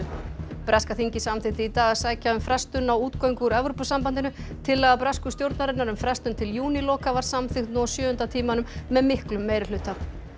breska þingið samþykkti í dag að sækja um frestun á útgöngu úr Evrópusambandinu tillaga bresku stjórnarinnar um frestun til júníloka var samþykkt nú á sjöunda tímanum með miklum meirihluta